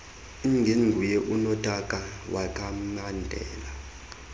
ingenguye unotaka wekhamandela